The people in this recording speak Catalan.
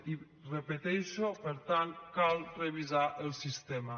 i ho repeteixo per tant cal revisar el sistema